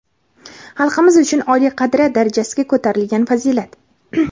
xalqimiz uchun oliy qadriyat darajasiga ko‘tarilgan fazilat!.